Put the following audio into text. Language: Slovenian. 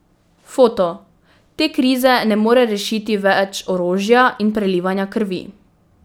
Foto: 'Te krize ne more rešiti več orožja in prelivanja krvi.